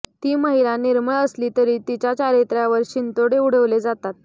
ती महिला निर्मळ असली तरी तिच्या चारित्र्यावर शिंतोडे उडवले जातात